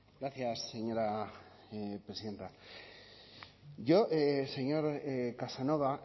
gracias señora presidenta yo señor casanova